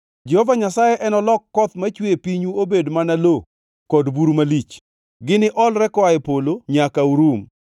Jehova Nyasaye enolok koth machwe e pinyu obed mana lo kod buru malich, gini olre koa e polo nyaka unurum.